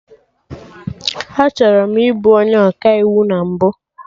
Achọrọ m ị bụ onye Ọkaiwu na mbụ